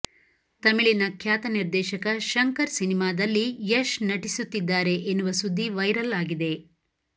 ತಮಿಳಿನ ಖ್ಯಾತ ನಿರ್ದೇಶಕ ಶಂಕರ್ ಸಿನಿಮಾದಲ್ಲಿ ಯಶ್ ನಟಿಸುತ್ತಿದ್ದಾರೆ ಎನ್ನುವ ಸುದ್ದಿ ವೈರಲ್ ಆಗಿದೆ